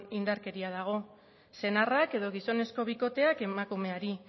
indarkeria dago senarrak edo gizonezko bikoteak emakumeari